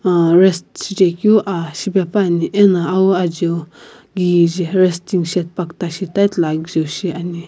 aa rest shichekeu aa shipepuani ena awu ajiu kije resting shade pakuta shi ta tile agijau shi ani.